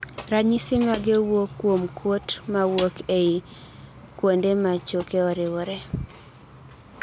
ranyisi mage wuok kuom kuot mawuok ei kuongmde machoke oriwore